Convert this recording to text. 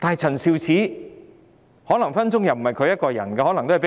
陳肇始可能是被人命令做事。